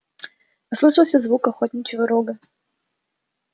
послышался звук охотничьего рога